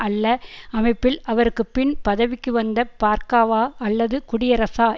அல்ல அமைப்பில் அவருக்கு பின் பதவிக்கு வந்த பர்க்காவா அல்லது குடியரசா